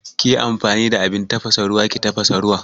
Kiyi amfani da abin tafasa ruwa ki tafasa ruwan